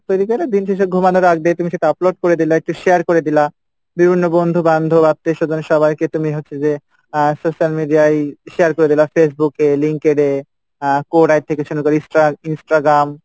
তৈরি করে দিন শেষে ঘুমানোর আগ দিয়ে তুমি সেটা upload করে দিলে একটু share করে দিলা বিভিন্ন বন্ধু বান্ধব আত্মীয়স্বজন সবাইকে তুমি হচ্ছে যে আহ social media ই share করে দিলা Facebook এ এ আহ insta~ Instagram